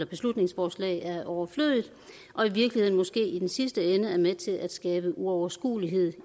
beslutningsforslag er overflødigt og i virkeligheden måske i den sidste ende er med til at skabe uoverskuelighed